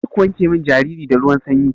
Karku wanke min jariri da ruwan sanyi.